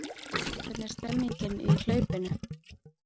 Hvernig er stemningin í hlaupinu?